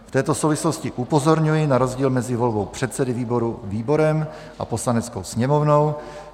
V této souvislosti upozorňuji na rozdíl mezi volbou předsedy výboru výborem a Poslaneckou sněmovnou.